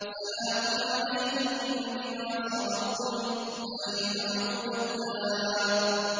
سَلَامٌ عَلَيْكُم بِمَا صَبَرْتُمْ ۚ فَنِعْمَ عُقْبَى الدَّارِ